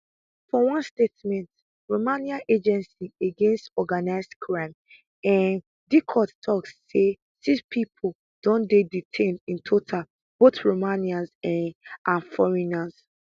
for one statement romania agency against organised crime um diicot tok say six pipo don dey detained in total both romanians um and foreigners